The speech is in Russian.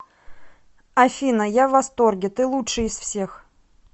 афина я в восторге ты лучший из всех